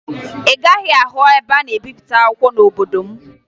Ị gaghị ahụ ebe a na-ebipụta akwụkwọ n'obodo m